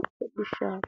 hodhishshaati